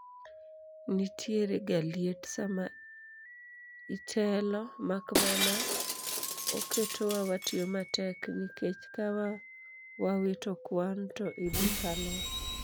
Nitiere ga liet sama itelo makmana oketowa watiyo matek nikech ka wawito kwan to idhi kalwa